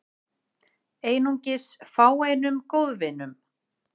Einungis fáeinum góðvinum